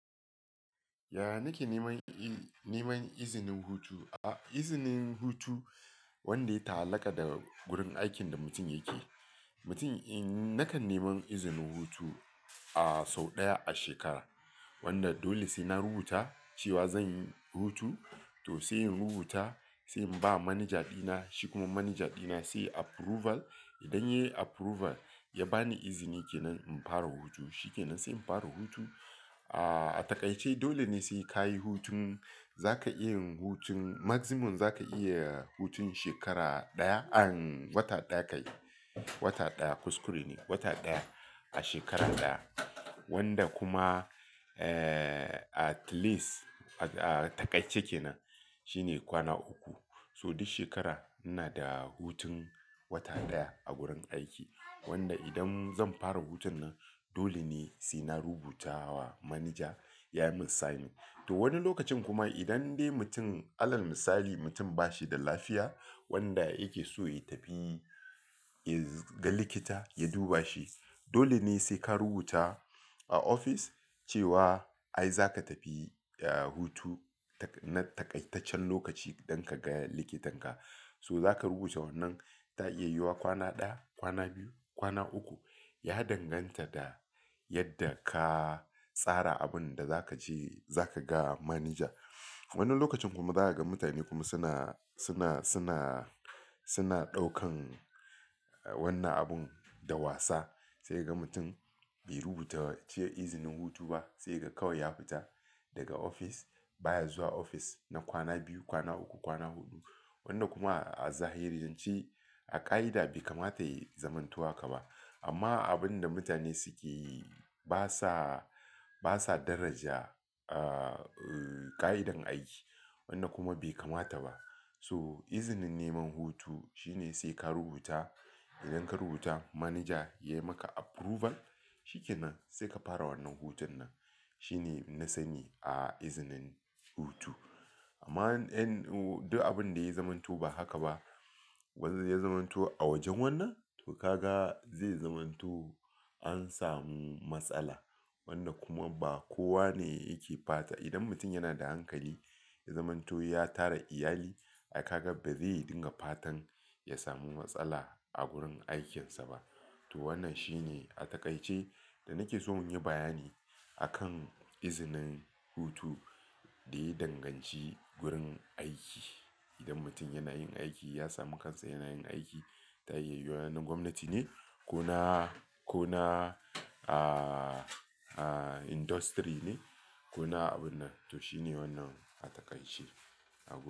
Ya nake neman izinin hutu, izinin hutu wanda ya ta'allaƙa da gurin aikin da mutum yake. Mutum in nakan neman izinin hutu a sau ɗaya a shekara wanda dole sai na rubuta cewa zanyi hutu to sai in rubuta, sai in ba manaja dina. Shi kuma manaja dina sai approval. Idan ya yi approval ya ba ni izini ke nan in fara hutu, shikenan sai in fara hutu. A takaice dole ne sai ka yi hutun zaka iya hutun maximum zaka iya hutun shekara ɗaya. Wata ɗaya kai wata ɗaya kuskure ne wata ɗaya a shekara ɗaya wanda kuma at least a takaice kenan shine kwana uku. So duk shekara ina da hutun wata ɗaya a gurin aiki wanda idan zan fara hutun nan dole ne sai na rubuta wa manaja ya min sign. To wani lokacin kuma idan dai mutum, Allah ya misali mutum ba shi da lafiya wanda yake so ya tafi ya ga likita ya duba shi. Dole ne sai ka rubuta a ofis cewa ai zaka tafi hutu na taƙaitaccen lokaci idan ka ga likitanka. So zaka rubuta wannan ta iya yuwa wa kwana ɗaya, kwana biyu, kwana uku. Ya danganta da yadda ka tsara abunda za ka je za ka ga manaja. Wani lokacin kuma za ka ga mutane kuma suna, suna, suna, suna ɗaukan wannan abun da wasa sai ka ga mutum bai rubuta ce izinin hutu ba sai ka ga kawai ya fita daga ofis baya zuwa ofis na kwana biyu, kwana uku, kwana huɗu wanda kuma a zahirance a ƙa'ida bai kamata yayi zamanto haka ba. Amma abunda mutane suke yi basa basa daraja ƙa'idan aiki wanda kuma bai kamata ba. So izinin neman hutu shine sai ka rubuta. Idan ka rubuta manaja ya maka approval shikenan sai ka fara wannan hutun nan. Shine nasani a izinin hutu. Amma duk abinda yayi zamanto ba haka ba wanda ya zamantu a wajen wannan to ka ga zai zamanto an samu matsala wanda kuma ba kowa ne yake fata. Idan mutum yana da hankali ya zamanto ya tara iyali ai ka ga ba zai dinga fatan ya samu matsala a gurin aikinsa ba. To wannan shine a taƙaice da nake so inyi bayani akan izinin hutu da ya danganci wurin aiki. Idan mutum yana yin aiki ya sami kansa yana yin aiki ta iya yuwa na gwamnati ne ko na, ko na industry ne ko na abun nan. To shine wannan a takaice a gurin.